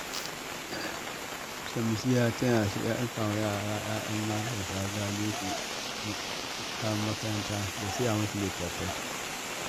Shamsiyya tana ɗinka wa ‘ya’yan marasa galihu kayan makaranta da siya musu litattafai